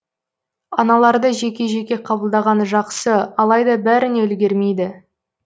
аналарды жеке жеке қабылдаған жақсы алайда бәріне үлгермейді